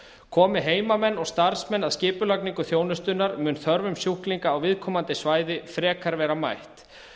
komi heimamenn og starfsmenn að skipulagningu þjónustunnar mun þörfum sjúklinga á viðkomandi svæði frekar vera mætt